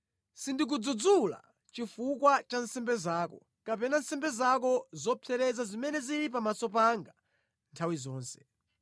Sindikudzudzula chifukwa cha nsembe zako, kapena nsembe zako zopsereza zimene zili pamaso panga nthawi zonse.